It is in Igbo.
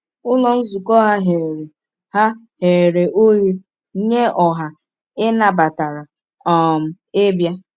Ụlọ nzukọ ha ghere ha ghere oghe nye ọha, ị nabatara um ịbịa.